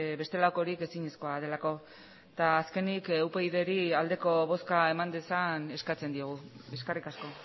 bestelakorik ezinezkoa delako eta azkenik upydri aldeko bozka eman dezan eskatzen diogu eskerrik asko